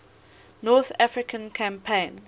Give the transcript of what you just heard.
north african campaign